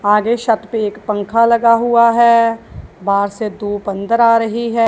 आगे छत पे एक पंखा लगा हुआ है बाहर से धूप अंदर आ रही है।